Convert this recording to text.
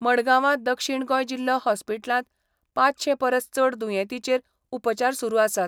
मडगांवां दक्षीण गोंय जिल्हो हॉस्पिटलांत पांचशें परस चड दुयेंतींचेर उपचार सुरू आसात.